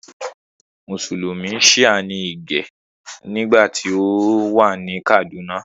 Mùsùlùmí Shia ní Ìgè nígbà tí ó wà ní Kàdúnà